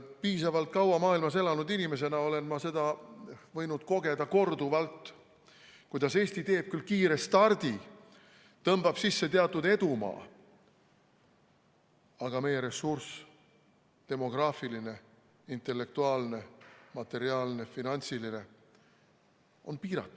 Piisavalt kaua maailmas elanud inimesena olen ma võinud kogeda, korduvalt, kuidas Eesti teeb küll kiire stardi, tõmbab sisse teatud edumaa, aga meie ressurss – demograafiline, intellektuaalne, materiaalne ja finantsiline – on piiratud.